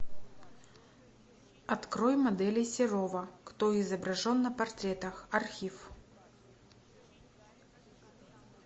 открой моделей серова кто изображен на портретах архив